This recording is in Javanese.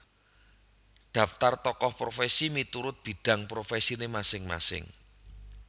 Daftar Tokoh Profesi miturut bidang profesine masing masing